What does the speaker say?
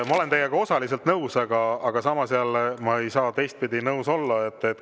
Ma olen teiega osaliselt nõus, aga samas jälle teistpidi ei saa ma nõus olla.